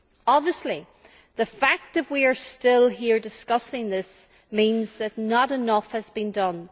Obviously, the fact that we are still here discussing this means that not enough has been done.